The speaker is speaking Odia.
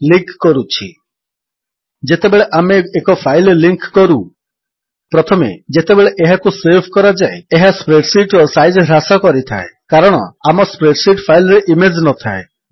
ଲିଙ୍କ୍ କରୁଛି ଯେତେବେଳେ ଆମେ ଏକ ଫାଇଲ୍ ଲିଙ୍କ୍ କରୁ ପ୍ରଥମେ ଯେତେବେଳେ ଏହାକୁ ସେଭ୍ କରାଯାଏ ଏହା ସ୍ପ୍ରେଡ୍ ଶୀଟ୍ ର ସାଇଜ୍ ହ୍ରାସ କରିଥାଏ କାରଣ ଆମ ସ୍ପ୍ରେଡ୍ ଶୀଟ୍ ଫାଇଲ୍ ରେ ଇମେଜ୍ ନଥାଏ